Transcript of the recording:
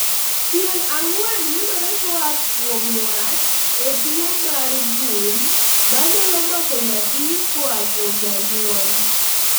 Tieng' ang'wen yudore koa kuom wat e tuo mar gund manyalo mako nyathi koa kuom janyuol